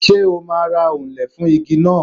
Ṣé o máa ra òǹlẹ̀ fún igi náà.